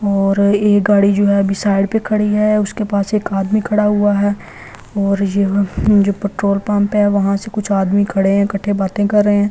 और एक गाड़ी जो है अभी साइड पे खड़ी है उसके पास एक आदमी खड़ा हुआ है और यह जो पेट्रोल पंप है वहां से कुछ आदमी खड़े हैं इकट्ठे बातें कर रहे --